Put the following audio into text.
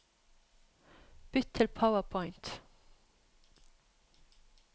Bytt til PowerPoint